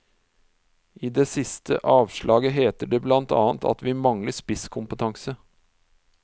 I det siste avslaget heter det blant annet at vi mangler spisskompetanse.